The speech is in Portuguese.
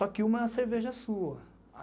Só que uma cerveja é sua.